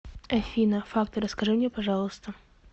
афина факты расскажи мне пожалуйста